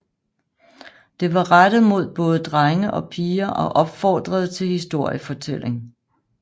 Det var rettet mod både drenge og piger og opfordrede til historiefortælling